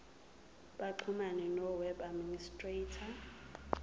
baxhumane noweb administrator